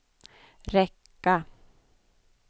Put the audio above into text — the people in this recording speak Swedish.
räcka